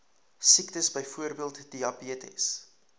siektes byvoorbeeld diabetes